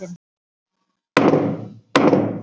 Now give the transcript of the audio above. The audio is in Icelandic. sagði hún daðurslega og sýndi þeim gamla og rispaða úrskífu.